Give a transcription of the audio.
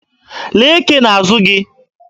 Lee eke n'azụ gị!